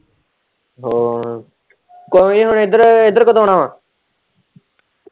ਹਮ ਕੋਈ ਨੀ ਹੁਣ ਇੱਧਰ-ਇੱਧਰ ਕਦੋਂ ਆਣਾ ਵਾ।